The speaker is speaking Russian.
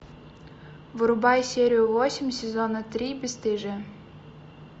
врубай серию восемь сезона три бесстыжие